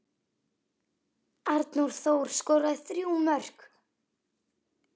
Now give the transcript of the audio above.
Arnór Þór skoraði þrjú mörk.